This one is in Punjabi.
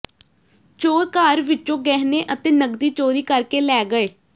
ਚੋਰ ਘਰ ਵਿਚੋਂ ਗਹਿਣੇ ਅਤੇ ਨਕਦੀ ਚੋਰੀ ਕਰਕੇ ਲੈ ਗਏ